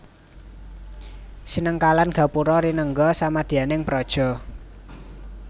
Sinengkalan Gapura rinengga samadyaning praja